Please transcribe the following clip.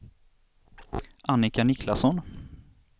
Annika Niklasson